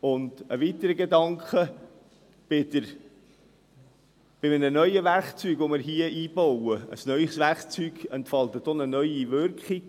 Und ein weiterer Gedanke: Ein neues Werkzeug, das wir hier einbauen, entfaltet auch eine neue Wirkung.